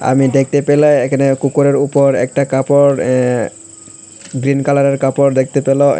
আমি দেখতে পেলে এখানে কুকুরের উপর একটা কাপড় অ্যাঁ গ্রিন কালারের কাপড় দেখতে পেল--